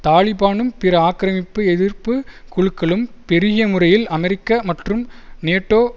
தாலிபானும் பிற ஆக்கிரமிப்பு எதிர்ப்பு குழுக்களும் பெருகிய முறையில் அமெரிக்க மற்றும் நேட்டோ